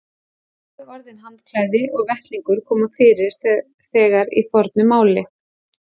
Bæði orðin handklæði og vettlingur koma fyrir þegar í fornu máli.